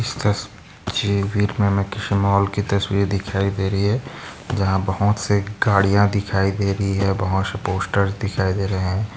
इस तस्वीर मे हमे किसी मॉल की तस्वीर दिखाई दे रही है। जहा बहुत से गाड़िया दिखाई दे रही है बहुत से पोस्टर दिखाई दे रहे है।